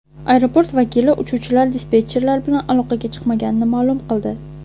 Aeroport vakili uchuvchilar dispetcherlar bilan aloqaga chiqmaganini ma’lum qildi.